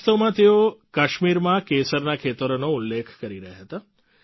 વાસ્તવમાં તેઓ કાશ્મીરમાં કેસરના ખેતરોનો ઉલ્લેખ કરી રહ્યા હતા